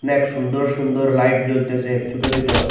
অনেক সুন্দর সুন্দর লাইট জ্বলতেসে ছোট ছোট।